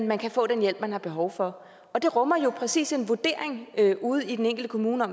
man kan få den hjælp man har behov for og det rummer jo præcis en vurdering ude i den enkelte kommune af